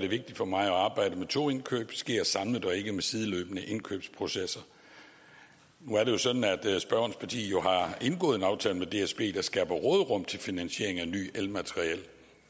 det vigtigt for mig at arbejdet med togindkøb sker samlet og ikke med sideløbende indkøbsprocesser nu er det sådan at spørgerens parti jo har indgået en aftale med dsb der skaber råderum til finansiering af nyt elmateriel